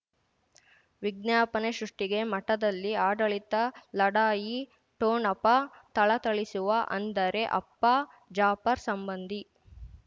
ವಿಜ್ಞಾಪನೆ ಸೃಷ್ಟಿಗೆ ಮಠದಲ್ಲಿ ಆಡಳಿತ ಲಢಾಯಿ ಠೋಣಪ ಥಳಥಳಿಸುವ ಅಂದರೆ ಅಪ್ಪ ಜಾಫರ್ ಸಂಬಂಧಿ